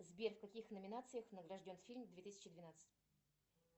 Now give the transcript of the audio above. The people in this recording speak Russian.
сбер в каких номинациях награжден фильм две тысячи двенадцать